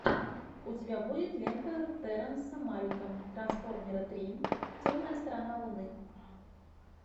у тебя будет лента терренса малика трансформеры три темная сторона луны